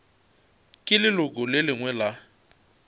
ke leloko le lengwe la